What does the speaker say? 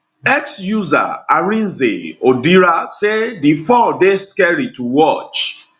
x user arinze odira say di fall dey scary to watch